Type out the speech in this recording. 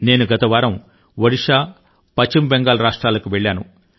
నేను గత వారం ఒడిషా పశ్చిమ బెంగాల్ రాష్ట్రాలకు వెళ్ళాను